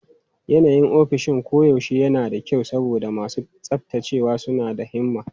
Yanayin ofishin koyaushe yana da kyau saboda masu tsaftacewa suna da himma.